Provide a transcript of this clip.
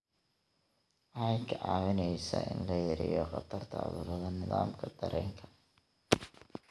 Waxay kaa caawinaysaa in la yareeyo khatarta cudurrada nidaamka dareenka.